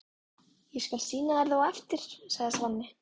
Ég skal sýna þér það á eftir, sagði Svenni.